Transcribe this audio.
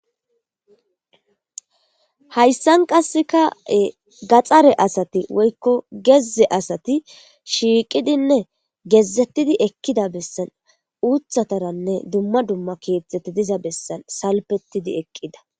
Haysan qasse woyiko gaxare asati ii woykko gezze asati shiiqidinne gezzeti ekkida heeraza uuththatinne dumma dumma keeththata bessan salpettidi eqqida.